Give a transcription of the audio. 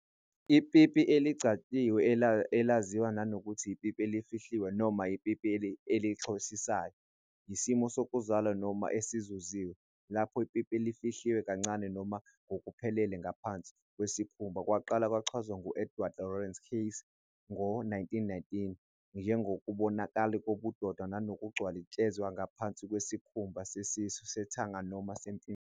Ipipi elingcwatshiwe, elaziwa nangokuthi ipipi elifihliwe noma ipipi elihoxisayo, yisimo sokuzalwa noma esizuziwe, lapho ipipi lifihlwe kancane noma ngokuphelele ngaphansi kwesikhumba. Kwaqala kwachazwa ngu-Edward Lawrence Keyes ngo-1919 njengokungabonakali kobudoda nokuthi kungcwatshwe ngaphansi kwesikhumba sesisu, sethanga, noma sesimfimfithi.